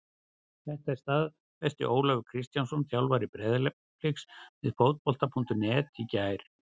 Þetta staðfesti Ólafur Kristjánsson þjálfari Breiðabliks við Fótbolta.net í gær.